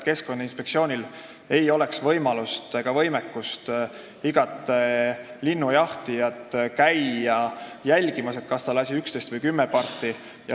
Keskkonnainspektsioonil ei oleks võimalust ega võimekust iga linnujahtijat jälgimas käia, kas ta lasi 11 või 10 parti.